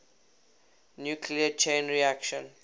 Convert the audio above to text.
nuclear chain reaction